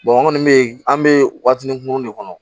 an kɔni bɛ an bɛ waatinin kunkurunin de kɔnɔ